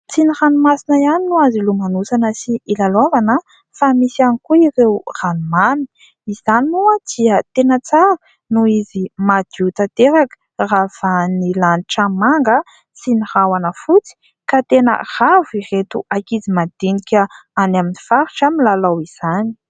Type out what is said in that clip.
Tsy ny ranomasina ihany no azo ilomanosana sy ilalaovana fa misy ihany koa ireo ranomamy. Izany moa dia tena tsara noho izy madio tanteraka ravahan'ny lanitra manga sy ny rahona fotsy ka tena ravo ireto ankizy madinika any amin'ny faritra milalao izany.